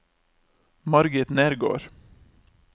Margit Nergård